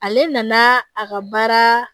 Ale nana a ka baara